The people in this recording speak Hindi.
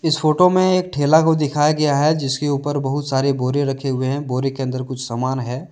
इस फोटो में एक ठेला को दिखाया गया है जिसके ऊपर बहुत सारे बोर रखे हुए हैं बोरे के अंदर कुछ सामान है।